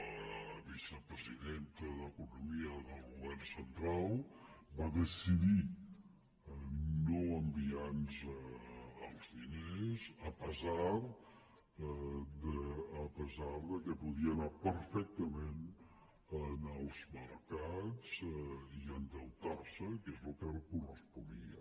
la vicepresidenta d’economia del govern central va decidir no enviar nos els diners a pesar que podia anar perfectament als mercats i endeutar se que és el que li corresponia